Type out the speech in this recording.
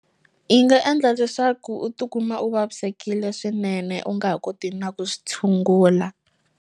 Yi nga endla leswaku u tikuma u vavisekile swinene u nga ha koti na ku swi tshungula.